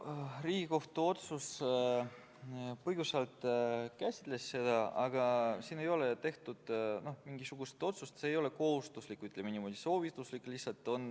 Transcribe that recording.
Riigikohtu otsus põgusalt seda käsitles, aga siin ei ole tehtud mingisugust otsust, see ei ole kohustuslik, ütleme niimoodi, see on lihtsalt soovituslik.